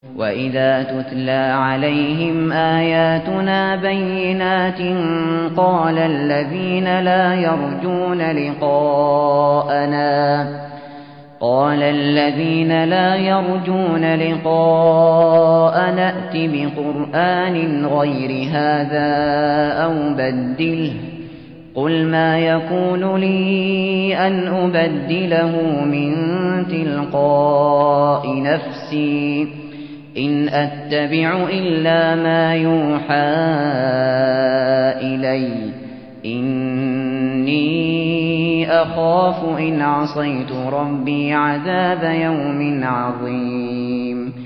وَإِذَا تُتْلَىٰ عَلَيْهِمْ آيَاتُنَا بَيِّنَاتٍ ۙ قَالَ الَّذِينَ لَا يَرْجُونَ لِقَاءَنَا ائْتِ بِقُرْآنٍ غَيْرِ هَٰذَا أَوْ بَدِّلْهُ ۚ قُلْ مَا يَكُونُ لِي أَنْ أُبَدِّلَهُ مِن تِلْقَاءِ نَفْسِي ۖ إِنْ أَتَّبِعُ إِلَّا مَا يُوحَىٰ إِلَيَّ ۖ إِنِّي أَخَافُ إِنْ عَصَيْتُ رَبِّي عَذَابَ يَوْمٍ عَظِيمٍ